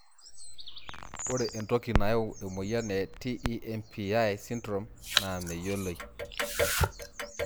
Ore entoki nayau emoyian e TEMPI syndrome naa meyioloi.